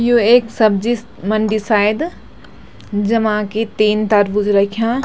यु ऐक सब्जी मंडी शायद जमा कि तीन तरबूज रख्या।